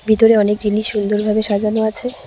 ভিতরে অনেক জিনিস সুন্দর ভাবে সাজানো আছে।